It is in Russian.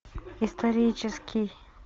исторический